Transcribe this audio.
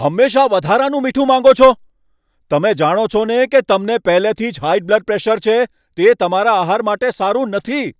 હંમેશા વધારાનું મીઠું માંગો છો! તમે જાણો છો ને કે તમને પહેલેથી જ હાઈ બ્લડ પ્રેશર છે, તે તમારા આહાર માટે સારું નથી.